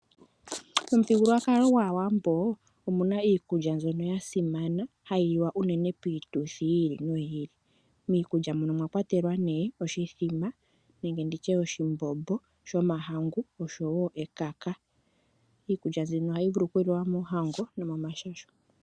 Momuthigululwakalo gwaawambo omuna iikulya mbyono ya simana hayi liwa unene piituthi yi ili noyi ili . Miikulya muno omwakwatelwa nee oshithima nenge oshimbombo ahomahangu oshowo ekaka. Iikulya mbino ohayi liwa moohango no momashasho.